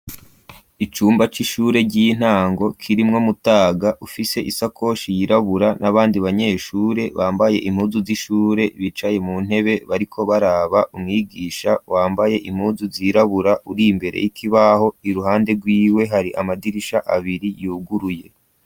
Icumba c'ishure ry'intango kirimwo mutaga ufise isakoshi yirabura n'abandi banyeshure bambaye impuzu z'ishure bicaye mu ntebe bariko baraba umwigisha yambaye impuzu zirabura uri mbere y'ikibaho i ruhande ryiwe hari amadirisha abiri yuguruye.